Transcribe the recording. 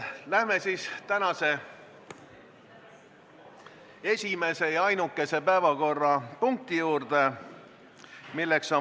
Läheme siis tänase esimese ja ainukese päevakorrapunkti juurde.